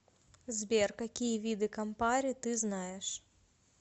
сбер какие виды кампари ты знаешь